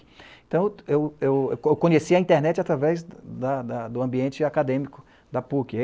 Então, eu eu eu conhecia a internet através da da do ambiente acadêmico da PUC.